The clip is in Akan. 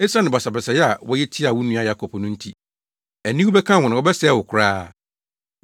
Esiane basabasayɛ a woyɛ tiaa wo nua Yakob no nti aniwu bɛka wo, na wɔbɛsɛe wo koraa.